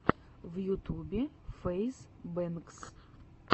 в ютубе фэйз бэнкс